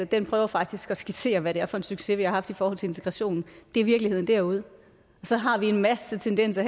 den prøver faktisk at skitsere hvad det er for en succes vi har haft i forhold til integrationen det er virkeligheden derude så har vi herinde en masse tendenser